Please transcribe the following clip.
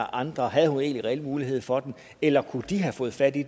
andre havde hun egentlig reelt mulighed for det eller kunne de have fået fat i